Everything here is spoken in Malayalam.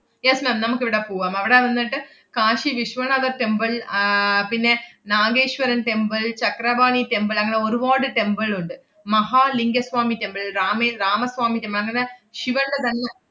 yes ma'am നമ്മക്കിവിടെ പൂവാം. അവടെ വന്നട്ട് കാശി വിശ്വനാഥ temple ആഹ് പിന്നെ നാഗേശ്വരൻ temple ചക്രപാണി temple അങ്ങനെ ഒരുവാട് temple ഉണ്ട്. മഹാലിംഗ സ്വാമി temple, രാമേ~ രാമസ്വാമി temple അങ്ങനെ ശിവന്‍റെ തന്നെ,